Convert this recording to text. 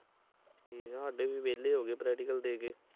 ਠੀਕ ਆ ਵਾਦੇ ਵੀ ਵੇਹਲੇ ਹੋਗੇ ਪਰੈਟਿਕਲੇ ਦੇ ਕੇ